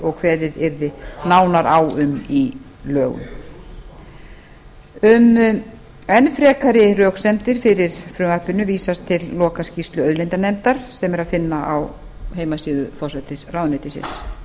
og kveðið yrði nánar á um í lögum um enn frekari röksemdir fyrir frumvarpinu vísast til lokaskýrslu auðlindanefndar sem er að finna á heimasíðu forsætisráðuneytisins